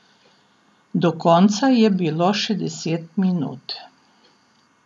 Do konca je bilo še deset minut.